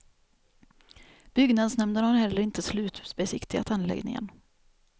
Byggnadsnämnden har heller inte slutbesiktigat anläggningen.